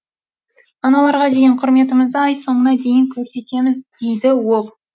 аналарға деген құрметімізді ай соңына дейін көрсетеміз дейді ол